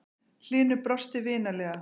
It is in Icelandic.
Hlynur brosti vinalega.